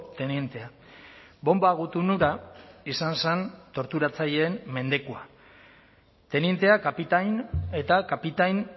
tenientea bonba gutun hura izan zen torturatzaileen mendekua tenientea kapitain eta kapitain